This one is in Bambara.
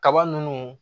Kaba nunnu